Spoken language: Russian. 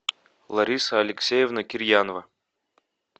лариса алексеевна кирьянова